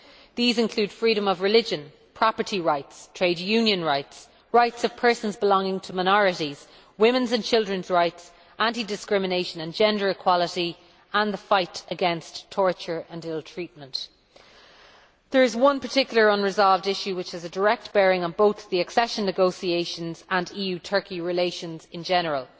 These include freedom of religion, property rights, trade union rights, rights of persons belonging to minorities, women's and children's rights, anti discrimination and gender equality, and the fight against torture and ill treatment. There is one particular unresolved issue which has a direct bearing on both the accession negotiations and EU Turkey relations in general.